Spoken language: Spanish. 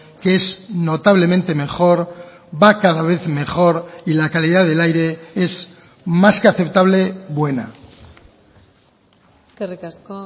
que es notablemente mejor va cada vez mejor y la calidad del aire es más que aceptable buena eskerrik asko